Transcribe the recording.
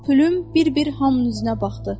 Pülüm bir-bir hamının üzünə baxdı.